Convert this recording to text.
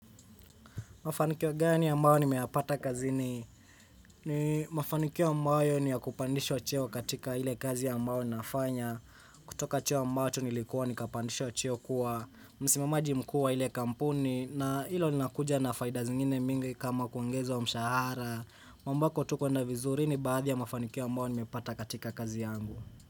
Mafanikio gani ambayo nimeyapata kazini? Mafanikio ambayo ni ya kupandishwa cheo katika ile kazi ambayo nafanya. Kutoka cheo ambacho nilikuwa nikapandishwa cheo kuwa. Msimamaji mkuu wa ile kampuni na hilo linakuja na faida zingine mingi kama kuongezwa mshahara. Ambako tuko na uzuri ni baadhi ya mafanikio ambayo nimeyapata katika kazi yangu.